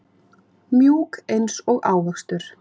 Mjúk einsog ávöxtur.